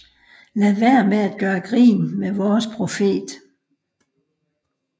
Lad være med at gøre grin med vores profet